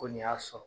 Ko nin y'a sɔrɔ